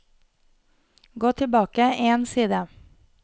Gå tilbake én side